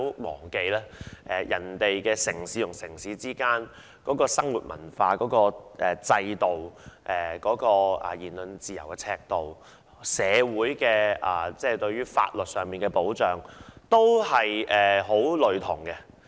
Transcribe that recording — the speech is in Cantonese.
大家不要忘記，上述國家的城際生活、文化、制度、言論自由的尺度，以及社會上的法律保障均十分類同。